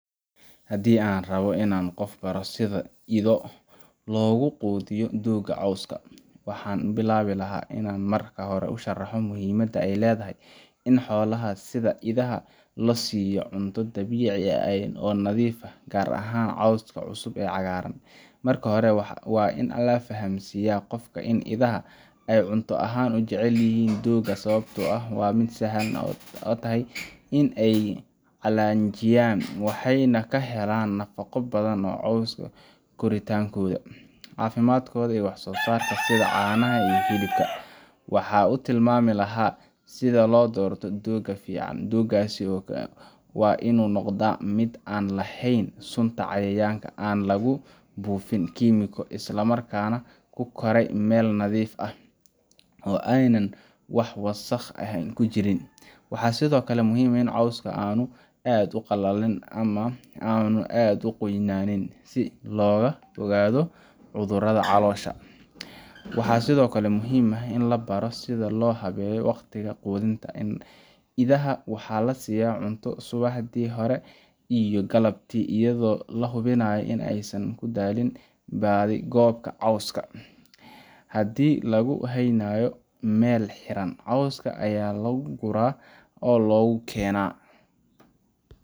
Hadii an rabo qof in an baro sitha idho logu qudhiyo dogs coska waxan bilawi laha in an marka hore u sharaxo muhimaada ee ledahay in xolaha sitha idhaha la siyo cunto dabici ah oo nadhif ah gar ahan coska cusub oo cagaran, marka hore waa in la fahansiya in idaha ee jecelyihin coska, waxan u tilmami laha sitha lo dorto doga coska, oo ena wax wasaq eh ee ku jirin, waxaa sithokale muhiim ah in coska uqalalin si loga ogado cudhuraada, hadii lagu haynayo meel xiran coska aya lagu gura oo logu kena.